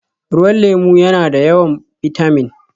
Ruwan lemu yana da yawan bitamin